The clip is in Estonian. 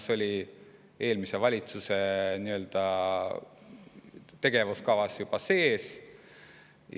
See oli ju juba eelmise valitsuse tegevuskavas sees.